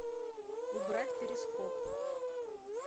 убрать перископ